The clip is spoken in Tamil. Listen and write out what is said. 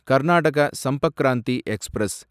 கர்நாடக சம்பர்க் கிராந்தி எக்ஸ்பிரஸ்